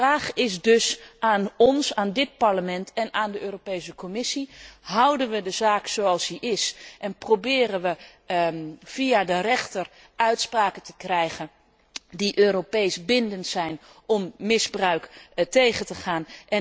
De vraag is dus aan ons, aan dit Parlement en aan de Europese Commissie houden we de zaak zoals die is en proberen we via de rechter uitspraken te krijgen die Europees bindend zijn om misbruik tegen te gaan?